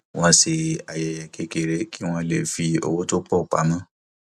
wọn ṣe ayẹyẹ kékeré kí wọn lè fi owó tó pọ pamọ